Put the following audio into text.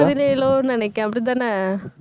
பதினேழோ நினைக்கிறேன் அப்படிதானே